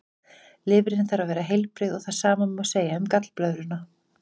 Lifrin þarf að vera heilbrigð og það sama má segja um gallblöðruna.